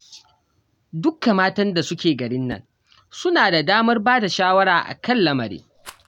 Dukka matan da suke garin nan suna da damar ba da shawara a kan lamarin